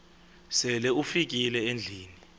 sele ufikile endlwini